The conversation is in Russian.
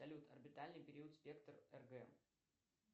салют орбитальный период спектр ргм